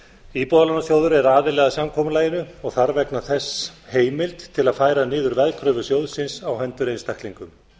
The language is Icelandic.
íbúðalánasjóður er aðili að samkomulaginu og þarf vegna þess heimild til að færa niður veðkröfur sjóðsins á hendur einstaklingum